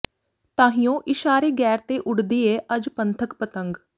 ਤਾਹੀਉਂ ਇਸ਼ਾਰੇ ਗ਼ੈਰ ਤੇ ਉੱਡਦੀ ਏ ਅਜ ਪੰਥਕ ਪਤੰਗ